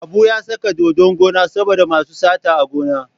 Habu ya saka dodon gona saboda masu sata a gona.